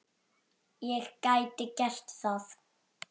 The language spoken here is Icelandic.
Ég gæti gert það.